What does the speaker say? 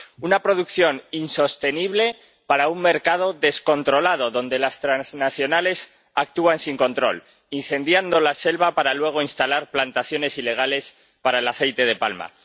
Una producción insostenible para un mercado descontrolado, donde las transnacionales actúan sin control, incendiando la selva para luego instalar plantaciones ilegales para el aceite de palma.